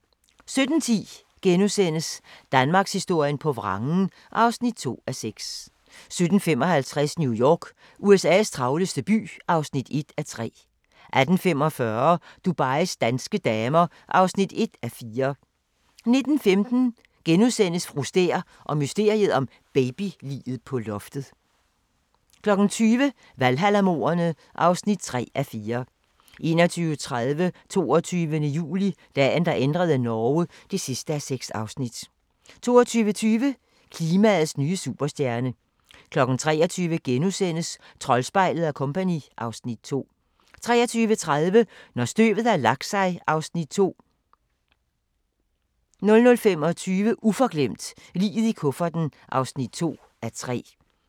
17:10: Danmarkshistorien på vrangen (2:6)* 17:55: New York – USA's travleste by (1:3) 18:45: Dubais danske damer (1:4) 19:15: Fru Stæhr og mysteriet om babyliget på loftet (2:4)* 20:00: Valhalla-mordene (3:4) 21:30: 22. juli - Dagen, der ændrede Norge (6:6) 22:20: Klimaets nye superstjerne 23:00: Troldspejlet & Co. (Afs. 2)* 23:30: Når støvet har lagt sig (Afs. 2) 00:25: Uforglemt: Liget i kufferten (2:3)